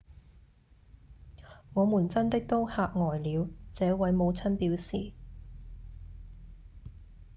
「我們真的都嚇呆了」這位母親表示